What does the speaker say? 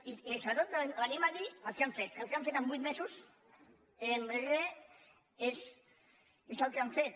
i sobretot venim a dir el que han fet el que han fet en vuit mesos és re és el que han fet